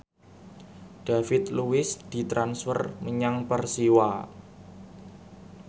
David Luiz ditransfer menyang Persiwa